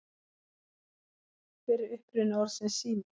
Hver er uppruni orðsins sími?